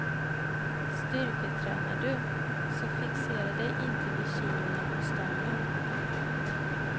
Styrketränar du, så fixera dig inte vid kilona på stången.